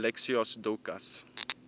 alexios doukas